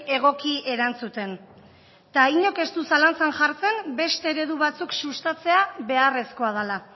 egoki erantzuten eta inork ez du zalantzan jartzen beste eredu batzuk sustatzea beharrezkoa dela